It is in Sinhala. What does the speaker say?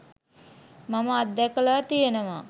මම අත් දැකල තියනවා